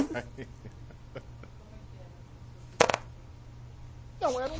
E como é que eram essas suas vidas para o Peruche? Não, eram